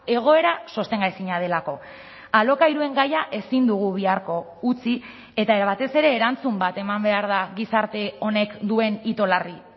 egoera sostengaezina delako alokairuen gaia ezin dugu biharko utzi eta batez ere erantzun bat eman behar da gizarte honek duen itolarri